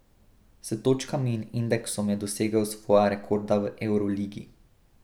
S točkami in indeksom je dosegel svoja rekorda v evroligi.